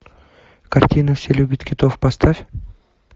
картина все любят китов поставь